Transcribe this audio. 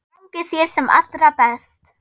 Gangi þér sem allra best.